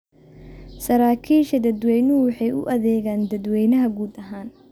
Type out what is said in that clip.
Saraakiisha dadweynuhu waxay u adeegaan dadweynaha guud ahaan.